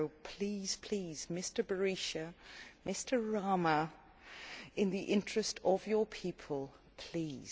So please, please, Mr Berisha, Mr Rama, in the interests of your people, please.